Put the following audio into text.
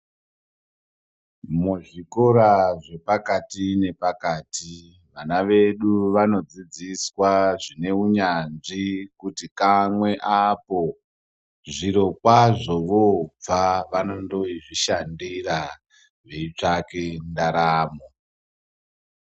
Muzvikora zvepakati nepakati vana vedu vanodzidziswa zvine unyanzvi kuti kamwe apo. Zviro kwazvo voobva vanondozvishandira veitsvaka ndaramo.